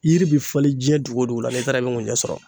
Yiri bi falen jiɲɛ dugu o dugu la n'i taara yen i be ŋunjɛ sɔrɔ